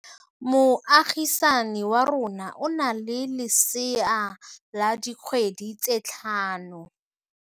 Moagisane wa rona o na le lesea la dikgwedi tse tlhano.